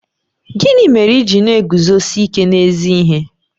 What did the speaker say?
Gịnị mere i ji na-eguzosi ike n'ezi ihe?